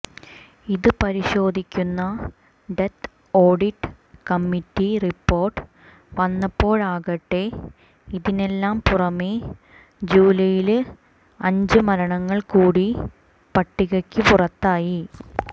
ഇത് പരിശോധിക്കുന്ന death audit committee report വന്നപ്പോഴാകട്ടെ ഇതിനെല്ലാം പുറമെ ജൂലൈയിലെ അഞ്ച് മരണങ്ങൾ കൂടി പട്ടികയ്ക്ക് പുറത്തായി